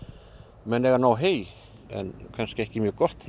menn eiga nóg hey en kannski ekki mjög gott hey